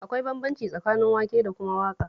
Akwai bambanci tsakanin waƙe da kuma waƙa